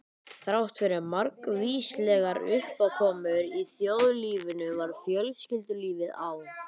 Þráttfyrir margvíslegar uppákomur í þjóðlífinu var fjölskyldulífið á